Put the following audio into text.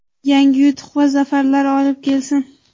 yangi yutuq va zafarlar olib kelsin!.